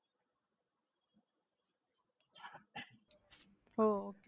ஓ